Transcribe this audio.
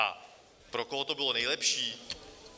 A pro koho to bylo nejlepší?